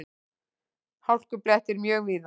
Hálkublettir mjög víða